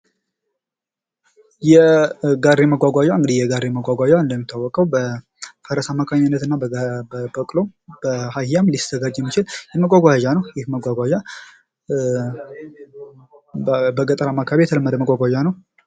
የጋሪ መጓጓዣ የጋሪ መጓጓዣ እንደሚታወቀው በፈረስ አማካኝነት እና በቅሎም በአህያም ሊዘጋጅ የሚችል መጓጓዣ ነው። ይህ መጓጓዣ በገጠራማው አካባቢ የተለመደ መጓጓዣ ነው።